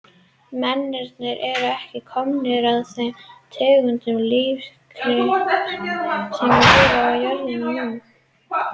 Mennirnir eru ekki komnir af þeim tegundum lífríkisins sem lifa á jörðinni núna.